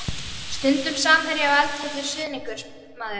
Stundum samherji og eldheitur stuðningsmaður.